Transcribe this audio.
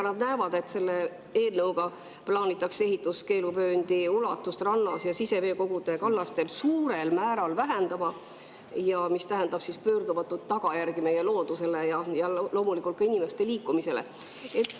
Nad näevad, et selle eelnõuga plaanitakse ehituskeeluvööndi ulatust rannas ja siseveekogude kallastel suurel määral vähendada, mis tähendab pöördumatuid tagajärgi meie loodusele ja loomulikult ka inimeste liikumisele.